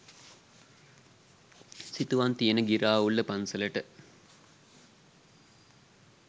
සිතුවම් තියෙන ගිරාඋල්ල පන්සලට.